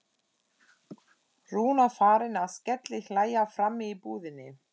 Rúna farin að skellihlæja frammi í búðinni!